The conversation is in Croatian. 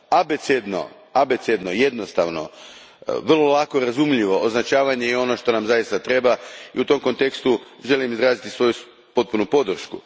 Abecedno, jednostavno, vrlo lako razumljivo označavanje je ono što nam zaista treba i u tom kontekstu želim izraziti svoju potpunu podršku.